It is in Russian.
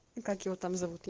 как его там зовут